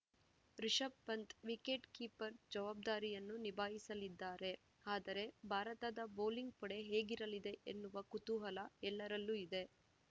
Rishabh Pant wicket keeper ಜವಾಬ್ದಾರಿಯನ್ನು ನಿಭಾಯಿಸಲಿದ್ದಾರೆ ಆದರೆ ಭಾರತದ ಬೌಲಿಂಗ್‌ ಪಡೆ ಹೇಗಿರಲಿದೆ ಎನ್ನುವ ಕುತೂಹಲ ಎಲ್ಲರಲ್ಲೂ ಇದೆ